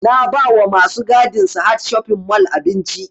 Na ba wa masu gadin sahad shopping mall abinci